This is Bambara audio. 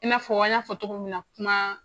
I nafɔ an ya fɔ cogo min na kuma